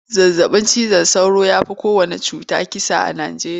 Zazabin cizon sauro ya fi kowanne ciwo kisa a Nijeriya.